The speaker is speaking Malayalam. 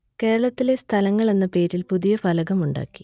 കേരളത്തിലെ സ്ഥലങ്ങൾ എന്ന പേരിൽ പുതിയ ഫലകം ഉണ്ടാക്കി